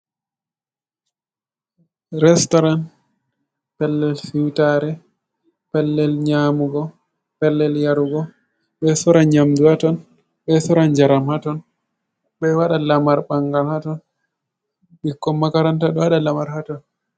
Restauran pellel siutare, pellel nyamugo, pellel yarugo. ɓeɗo sora nyamdu ha ton, ɓe sora njaram ha ton, ɓe wada lamar bangal hatton, ɓikkon makaranta ɗo waɗa lamar haton.